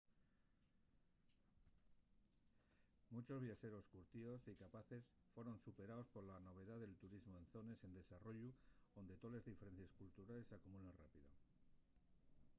munchos viaxeros curtíos y capaces foron superaos pola novedá del turismu en zones en desarrollu onde toles diferencies culturales s'acumulen rápido